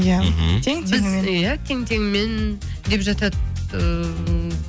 иә мхм тең теңімен иә тең теңімен деп жатады ыыы